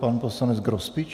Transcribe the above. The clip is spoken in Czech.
Pan poslanec Grospič.